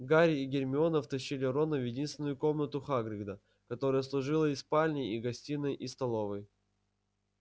гарри и гермиона втащили рона в единственную комнату хагрида которая служила и спальней и гостиной и столовой